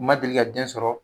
u ma deli ka den sɔrɔ